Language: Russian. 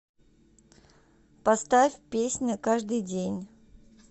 поставь песня каждый день